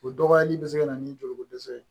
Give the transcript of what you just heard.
O dɔgɔyali bɛ se ka na ni joliko dɛsɛ ye